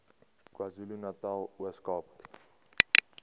kwazulunatal ooskaap